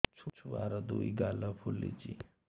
ଛୁଆର୍ ଦୁଇ ଗାଲ ଫୁଲିଚି